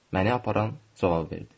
Məni aparan cavab verdi.